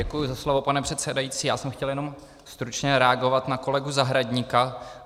Děkuji za slovo, pane předsedající, já jsem chtěl jenom stručně reagovat na kolegu Zahradníka.